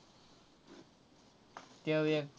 तो एक.